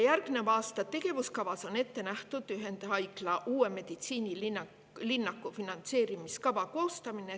Järgneva aasta tegevuskavas on ette nähtud ühendhaigla uue meditsiinilinnaku finantseerimise kava koostamine.